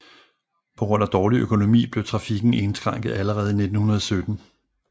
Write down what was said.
På grund af dårlig økonomi blev trafikken indskrænket allerede i 1917